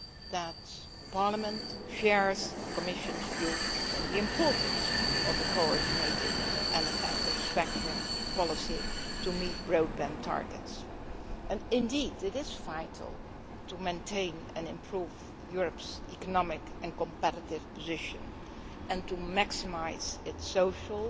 that Parliament shares the Commission's view on the importance of a coordinated and effective spectrum policy to meet broadband targets. And indeed it is vital to maintain and improve Europe's economic and competitive position and to maximise its social